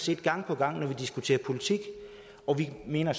vi gang på gang diskuterer politik vi mener